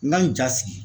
N ka n ja sigi